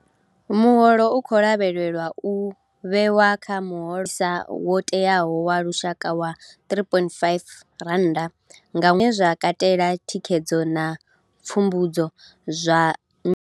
Muholo u khou lavhelelwa u vhewa kha muhosa wo tewaho wa lushaka wa R3 500 nga ṅwedzi, zwine zwa katela thikhedzo na pfumbudzo zwa.